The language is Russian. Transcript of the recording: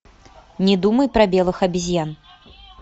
не думай про белых обезьян